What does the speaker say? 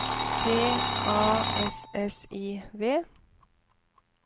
P A S S I V